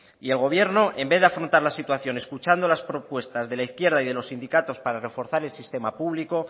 y el gobierno en vez de afrontar la situación escuchando las propuestas de la izquierda y de los sindicatos para reforzar el sistema público